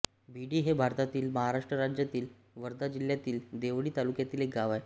भिडी हे भारतातील महाराष्ट्र राज्यातील वर्धा जिल्ह्यातील देवळी तालुक्यातील एक गाव आहे